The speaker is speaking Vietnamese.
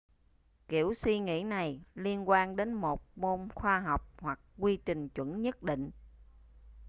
kiểu suy nghĩ này liên quan đến một môn khoa học hoặc quy trình chuẩn nhất định